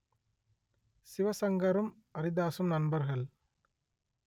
சிவசங்கரும் அரிதாசும் நண்பர்கள்